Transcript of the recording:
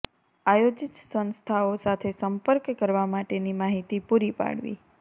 આયોજીત સંસ્થાઓ સાથે સંપર્ક કરવા માટેની માહિતી પૂરી પાડવી